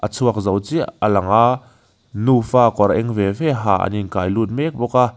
a chhuak zo chiah a lang a nufa kawr eng ve ve ha an inkai lut mek bawk a.